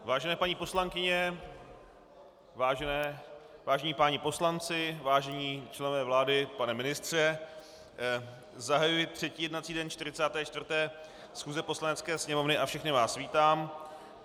Vážené paní poslankyně, vážení páni poslanci, vážení členové vlády, pane ministře, zahajuji třetí jednací den 44. schůze Poslanecké sněmovny a všechny vás vítám.